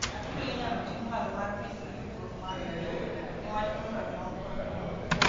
atudo inyalo ting malo mar piny gi yudruok mar pii niwach yuolo tong kod ringo